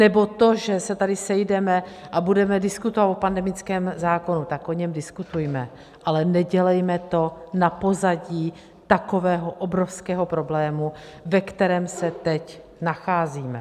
Nebo to, že se tady sejdeme a budeme diskutovat o pandemickém zákonu - tak o něm diskutujme, ale nedělejme to na pozadí takového obrovského problému, ve kterém se teď nacházíme.